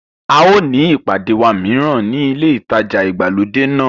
A ó ní ìpàdé wa mìíràn ní ilé ìtajà ìgbàlódé náà.